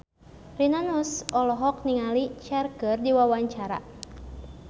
Rina Nose olohok ningali Cher keur diwawancara